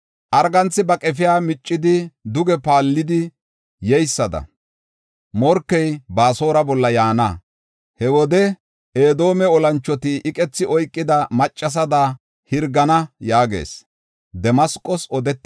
Arganthi ba qefiya miccidi duge paallidi yeysada, morkey Baasora bolla yaana. He wode Edoome olanchoti iqethi oykida maccasada hirgana” yaagees.